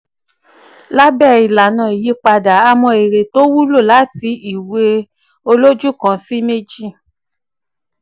lábẹ́ ìlànà ìyípadà a mọ èrè tó wúlò láti ìwé olójú kan sí méjì.